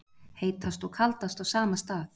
Heitast og kaldast á sama stað